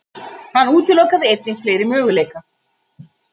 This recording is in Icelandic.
Hann útilokaði einnig fleiri möguleika.